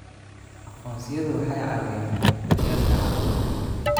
Aqoonsiyadu waxay caawiyaan daryeelka caafimaadka.